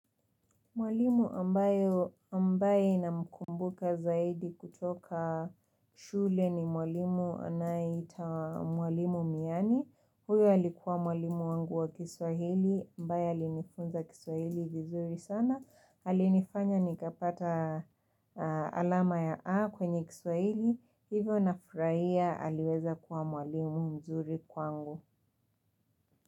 Mwalimu ambayo ambaye namkumbuka zaidi kutoka shule ni mwalimu anayeitwa mwalimu miyani. Huyo alikuwa mwalimu wangu wa kiswahili ambaye alinifunza kiswahili vizuri sana. Alinifanya nikapata alama ya A kwenye kiswahili. Hivyo nafurahia aliweza kuwa mwalimu mzuri kwangu.